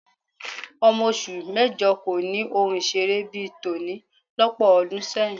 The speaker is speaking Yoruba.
Ọmọ oṣù mẹ́jọ kò ni ohun ìṣeré bí i tòní lọ́pọ̀ ọdún sẹ́yìn